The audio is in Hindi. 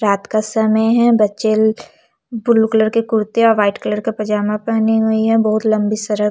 रात का समय है बच्चे ब्लू कलर के कुर्ते और वाइट कलर का पायजामा पहना हुई है बहोत लम्बी सरक --